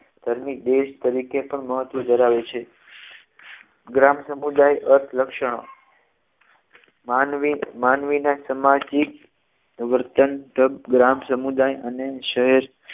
ધાર્મિક દેશ તરીકે પણ મહત્વ ધરાવે છે ગ્રામ સમુદાય અર્થ લક્ષણો માનવી માનવી ના સામાજિક વર્તન તમાક ગ્રામ સમુદાય અને શ્રેષ્ઠ